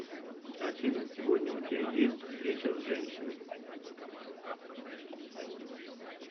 афина сегодня у тебя есть встреча с женщиной